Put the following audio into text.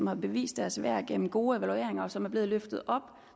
har bevist deres værd gennem gode evalueringer og som er blevet løftet og